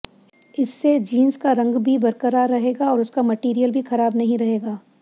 इससे जींस का रंग की बरकरार रहेगा और उसका मटीरियल भी खराब नहीं रहेगा